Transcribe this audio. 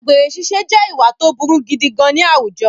Àgbèrè ṣiṣẹ́ je ìwà tó burú gidi gan-an ní àwùjọ